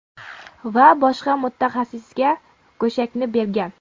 Va boshqa mutaxassisga go‘shakni bergan.